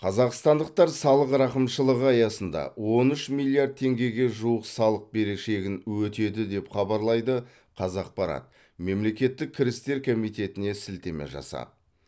қазақстандықтар салық рақымшылығы аясында он үш миллиард теңгеге жуық салық берешегін өтеді деп хабарлайды қазақпарат мемлекеттік кірістер комитетіне сілтеме жасап